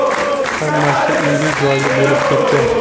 Hammasi uyli-joyli bo‘lib ketgan.